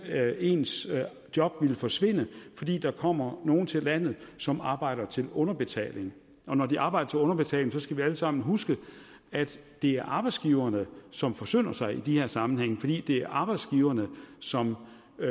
ens job forsvinder fordi der kommer nogen til landet som arbejder til underbetaling og når de arbejder til underbetaling skal vi alle sammen huske at det er arbejdsgiverne som forsynder sig i de her sammenhænge fordi det er arbejdsgiverne som